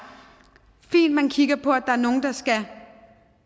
fint at man kigger på at der